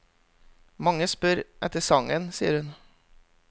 Mange spør etter sangen, sier hun.